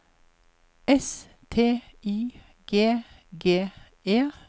S T Y G G E